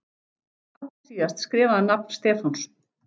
Allra síðast skrifaði hann nafn Stefáns.